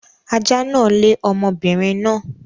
Ajá náà lé ọmọbinrin náà